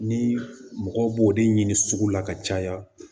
Ni mɔgɔ b'o de ɲini sugu la ka caya